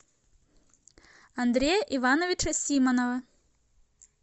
андрея ивановича симонова